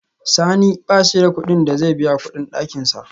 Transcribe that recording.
Sani bashi da kudin da zai biya kudin dakinsa